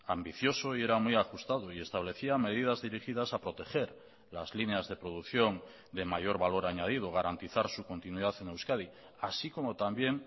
ambicioso y era muy ajustado y establecía medidas dirigidas a proteger las líneas de producción de mayor valor añadido garantizar su continuidad en euskadi así como también